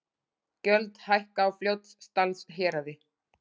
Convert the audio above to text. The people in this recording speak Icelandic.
Gjöld hækka á Fljótsdalshéraði